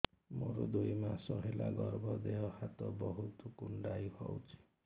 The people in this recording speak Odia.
ମୋର ଦୁଇ ମାସ ହେଲା ଗର୍ଭ ଦେହ ହାତ ବହୁତ କୁଣ୍ଡାଇ ହଉଚି